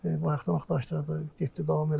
Bayaqdan axtarışlar da getdi, davam elədi.